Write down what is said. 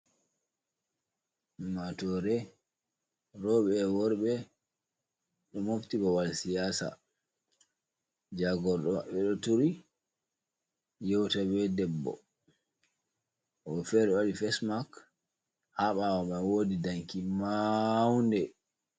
Ummatore roɓe e worɓe, ɗo mofti babal siyasa, jagorɗo maɓɓe ɗo turi yewta be debbo woɓɓ fere ɗo waɗi fes mak, ha ɓawo mai wodi danki maunde.